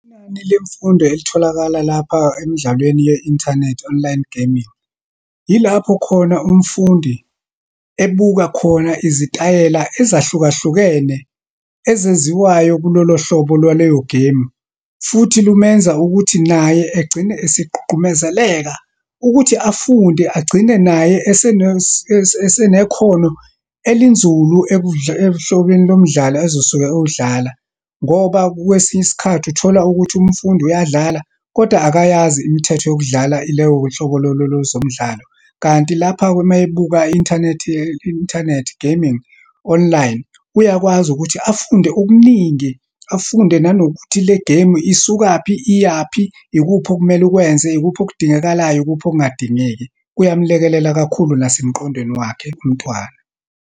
Inani lemfundo elitholakala lapha emdlalweni ye-inthanethi, online gaming. Yilapho khona umfundi ebuka khona izitayela ezahlukahlukene, ezenziwayo kulolohlobo lwaleyo gemu. Futhi lumenza ukuthi naye egcine esigqugqumezeleka ukuthi afunde, agcine naye esenekhono elinzulu ehlobeni lomdlalo azosuke ewudlala. Ngoba kwesinye isikhathi, uthola ukuthi umfundi uyadlala, kodwa akayazi imithetho yokudlala leyo hlobololo lozomdlalo. Kanti lapha-ke, uma ebuka i-inthanethi, ye-inthanethi, gaming online, uyakwazi ukuthi afunde okuningi, afunde nanokuthi le gemu isukaphi, iyaphi, ikuphi okumele ukwenze, ikuphi okudingekalayo, ikuphi okungadingeki. Kuyamlekelela kakhulu nasemqondweni wakhe umntwana.